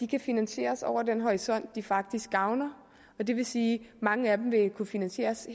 kan finansieres over den horisont de faktisk gavner det vil sige at mange af dem vil kunne finansieres